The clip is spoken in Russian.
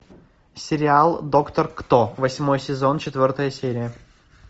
сериал доктор кто восьмой сезон четвертая серия